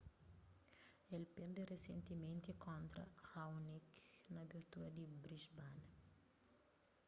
el perde risentimenti kontra raonic na abertura di brisbane